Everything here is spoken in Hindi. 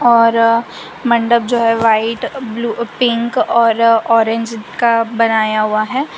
और मंडप जो है व्हाइट ब्ल्यू पिंक और ऑरेंज का बनाया हुआ है।